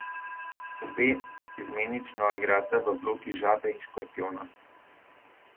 Obe izmenično igrata vlogi žabe in škorpijona.